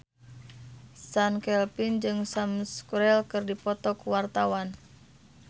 Chand Kelvin jeung Sam Spruell keur dipoto ku wartawan